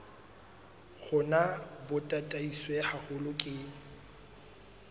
rona bo tataiswe haholo ke